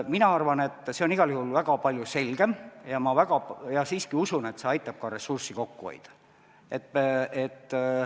Mina arvan, et see on igal juhul väga palju selgem, ja siiski usun, et see aitab ka ressurssi kokku hoida.